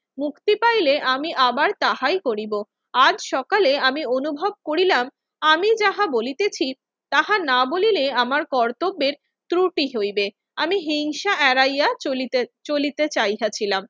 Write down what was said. মুক্তি পাইলে আমি আবার তাহাই করিব। আজ সকালে আমি অনুভব করিলাম, আমি যাহা বলিতেছি তাহা না বলিলে আমার কর্তব্যের ত্রুটি হইবে। আমি হিংসা এড়াইয়া চলিতে~ চলিতে চাহিয়াছিলাম।